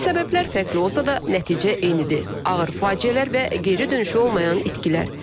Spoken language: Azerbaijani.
Səbəblər fərqli olsa da nəticə eynidir: ağır faciələr və geri dönüşü olmayan itkilər.